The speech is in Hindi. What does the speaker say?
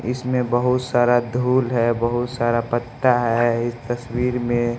इसमें बहुत सारा धूल है। बहुत सारा पत्ता है इस तस्वीर में--